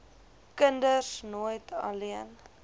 kinders nooit alleen